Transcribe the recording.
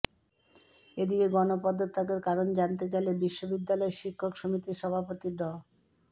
এদিকে গণপদত্যাগের কারণ জানতে চাইলে বিশ্ববিদ্যালয় শিক্ষক সমিতির সভাপতি ড